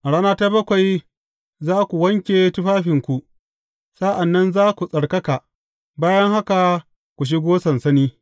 A rana ta bakwai za ku wanke tufafinku, sa’an nan za ku tsarkaka, bayan haka ku shigo sansani.